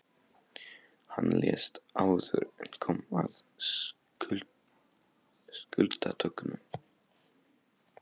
Hann lést áður en kom að skuldadögunum.